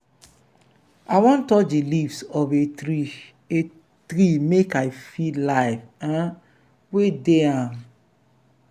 i wan touch di leaves of a tree a tree make i feel life um wey dey am.